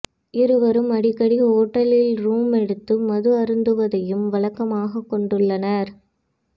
இருவரும் அடிக்கடி ஓட்டலில் ரூம் எடுத்து மது அருந்துவதையும் வழக்கமாகக் கொண்டுள்ளனர்